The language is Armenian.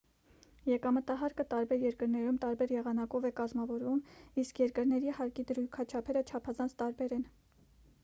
եկամտահարկը տարբեր երկրներում տարբեր եղանակով է կազմավորվում իսկ երկրների հարկի դրույքաչափերը չափազանց տարբեր են